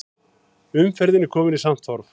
Umferð komin í samt horf